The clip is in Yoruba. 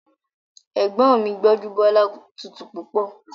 Ẹ̀gbọ́n mi Gbọ́njúbọ́lá tutù púpọ̀